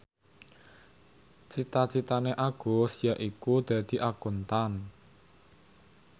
cita citane Agus yaiku dadi Akuntan